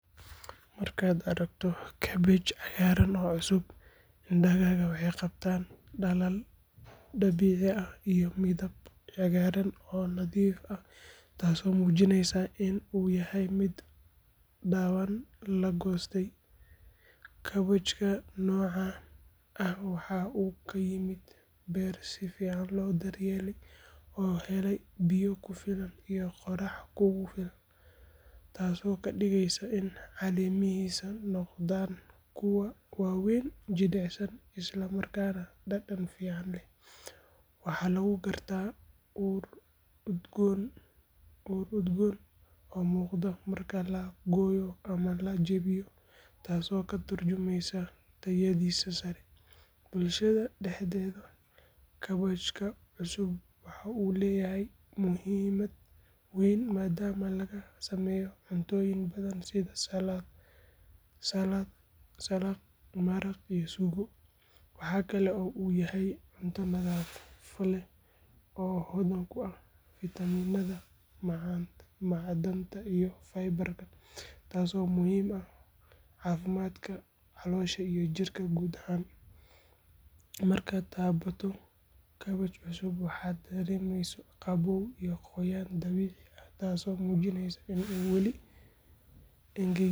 Markaad aragto kaabash cagaaran oo cusub, indhahaaga waxay qabtaan dhalaal dabiici ah iyo midab cagaaran oo nadiif ah taasoo muujinaysa in uu yahay mid dhawaan la goostay. Kaabashka noocan ah waxa uu ka yimid beer si fiican loo daryeelay oo helay biyo ku filan iyo qorrax kugu filan, taasoo ka dhigaysa in caleemihiisu noqdaan kuwo waaweyn, jilicsan isla markaana dhadhan fiican leh. Waxaa lagu gartaa ur udgoon oo muuqda marka la gooyo ama la jebiyo, taasoo ka tarjumaysa tayadiisa sare. Bulshada dhexdeeda, kaabashka cusub waxa uu leeyahay muhiimad weyn maadaama laga sameeyo cuntooyin badan sida saladh, maraq iyo suugo. Waxa kale oo uu yahay cunto nafaqo leh oo hodan ku ah fiitamiinada, macdanta iyo fiber-ka, taasoo muhiim u ah caafimaadka caloosha iyo jirka guud ahaan. Markaad taabato kaabash cusub, waxaad dareemaysaa qabow iyo qoyaan dabiici ah taasoo muujinaysa in aanu weli engegin.